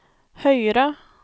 høyere